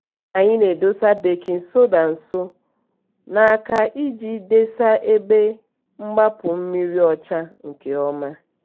anyị na-edosa bakin soda nso n'aka iji desa ebe mgbapụ mmiri ọcha nke ọma.